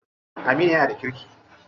Aminu yana da kirki.